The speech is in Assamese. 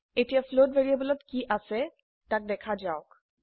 এতিয়া ফ্লোট ভ্যাৰিয়েবলত কি আছে তাক দেখা যাওক